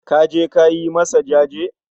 kaje ka yi masa jaje?